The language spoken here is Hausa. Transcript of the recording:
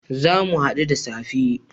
Zamu hadu da safe